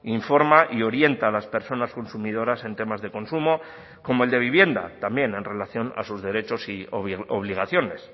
informa y orienta a las personas consumidoras en temas de consumo como el de vivienda también en relación a sus derechos y obligaciones